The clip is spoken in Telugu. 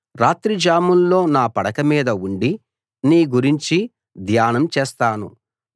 రాత్రి జాముల్లో నా పడక మీద ఉండి నీ గురించి ధ్యానం చేస్తాను